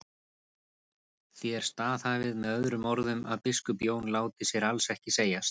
Þér staðhæfið með öðrum orðum að biskup Jón láti sér alls ekki segjast.